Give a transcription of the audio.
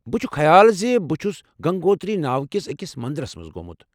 بہٕ چھُ خیال زِ بہٕ چھُس گنگوتری ناوٕ کِس أکس مندرس منٛز گومُت ۔